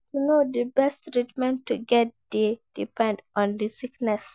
To know di best treatment to get dey depend on the sickness